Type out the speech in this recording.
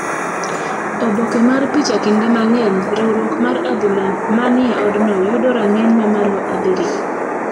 Oboke mar picha Kinde mang’eny, riwruok mar adhula ma ni e odno yudo rang'iny mamalo abiriyo.